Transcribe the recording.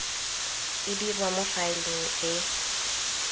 e dirwa mo faeleng e